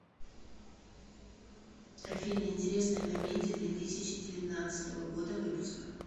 афина интересная комедия две тысячи девятнадцатого года выпуска